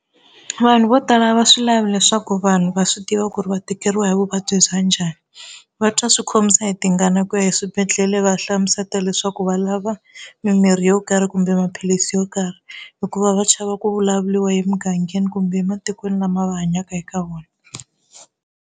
Vanhu vo tala a va swi lavi leswaku vanhu va swi tiva ku ri va tikeriwa hi vuvabyi bya njhani, va twa swi khomisa hi tingana ku ya eswibedhlele va ya hlamusela leswaku va lava mimirhi yo karhi kumbe maphilisi yo karhi hikuva va chava ku vulavuriwa emugangeni kumbe ematikweni lama va hanyaka eka wona.